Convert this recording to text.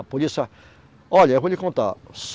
A polícia, olha, eu vou lhe contar.